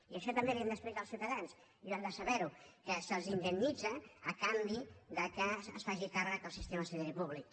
i això també els ho hem d’explicar als ciutadans i ho han de saber que se’ls indemnitza a canvi que se’n faci càrrec el sistema sanitari públic